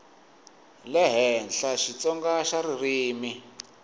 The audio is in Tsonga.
le henhla xitsonga xa ririmi